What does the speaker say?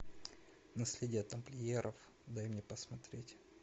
наследие тамплиеров дай мне посмотреть